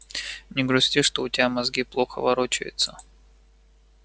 не грусти что у тебя мозги плохо ворочаются